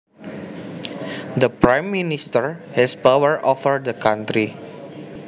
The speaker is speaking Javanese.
The prime minister has power over the country